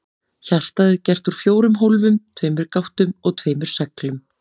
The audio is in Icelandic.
Hjartað er gert úr fjórum hólfum, tveimur gáttum og tveimur sleglum.